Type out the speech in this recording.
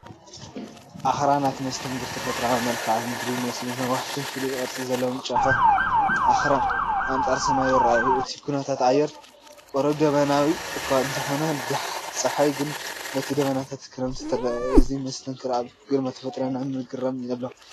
ኣኽራናት፣ መስተንክር ተፈጥሮኣዊ መልክዓ ምድሪ ይመስሉ። ነዋሕትን ፍሉይ ቅርጺ ዘለዎምን ጫፋት ኣኽራን ኣንጻር ሰማይ ይረኣዩ። እቲ ኩነታት ኣየር ቁሩብ ደበናዊ እኳ እንተኾነ ጸሓይ ግን በቲ ደበናታት ክትጥምት ትረአ። እዚ መስተንክር ኣብ ግርማ ተፈጥሮ ናይ ምግራምን ኣለዎ።